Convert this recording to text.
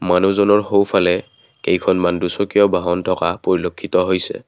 মানুহজনৰ সোঁফালে কেইখন দুচকীয়া বাহন থকা পৰিলেক্ষিত হৈছে।